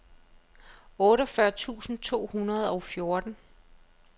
otteogfyrre tusind to hundrede og fjorten